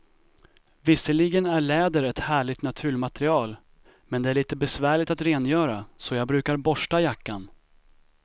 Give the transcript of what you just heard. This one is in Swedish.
Visserligen är läder ett härligt naturmaterial, men det är lite besvärligt att rengöra, så jag brukar borsta jackan.